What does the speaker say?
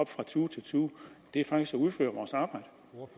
fra tue til tue det er faktisk at udføre vores arbejde